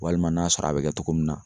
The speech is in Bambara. Walima n'a sɔrɔ a bɛ kɛ togo min na